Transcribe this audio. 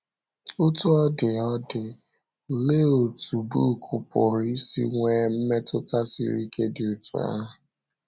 Otú ọ dị ọ dị, olee otú book pụrụ isi nwee mmetụta siri ike dị otú ahụ?